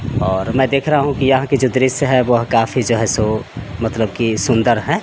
और मैं देख रहा हूँ कि यहां की जो दृश्य है वो काफी जो है सो मतलब की सुंदर है।